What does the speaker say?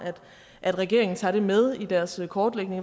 at regeringen tager det med i deres kortlægning